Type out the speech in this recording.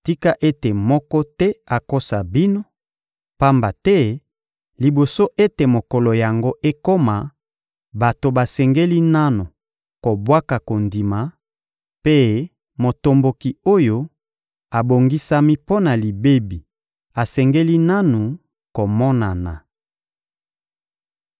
Tika ete moko te akosa bino; pamba te liboso ete mokolo yango ekoma, bato basengeli nanu kobwaka kondima, mpe motomboki oyo abongisami mpo na libebi asengeli nanu komonana.